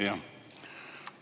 Jah.